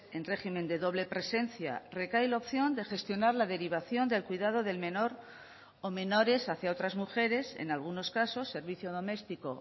en régimen de doble presencia recae la opción de gestionar la derivación del cuidado del menor o menores hacia otras mujeres en algunos casos servicio doméstico